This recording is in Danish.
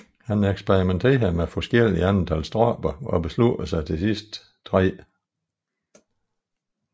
Han eksperimenterede med forskellige antal stropper og besluttede til sidst tre